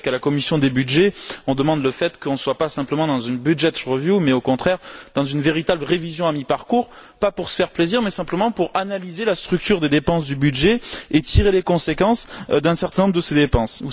Vous savez qu'à la commission des budgets, on demande qu'on ne soit pas simplement dans une mais au contraire dans une véritable révision à mi parcours, pas pour se faire plaisir mais simplement pour analyser la structure de dépenses du budget et tirer les conséquences d'un certain nombre de ces dépenses.